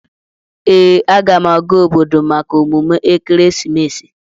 Ee, aga m aga obodo maka emume ekeresimesi.